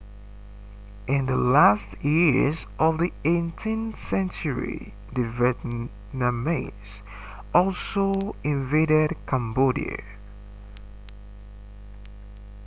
in the last years of the 18th century the vietnamese also invaded cambodia